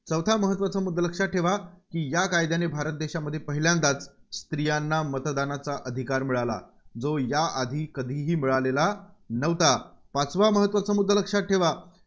चौथा महत्त्वाचा मुद्दा लक्षात ठेवा की या कायद्याने भारत देशांमध्ये पहिल्यांदा स्त्रीयांना मतदानाचा अधिकार मिळाला. जो या आधी कधीही मिळालेला नव्हता. पाचवा महत्त्वाचा मुद्दा लक्षात ठेवा.